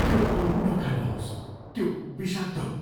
त्यो फल नखानुहोस्। त्यो विषाक्त हो।